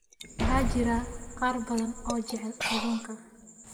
Waxaa jira qaar badan oo jecel kalluunka.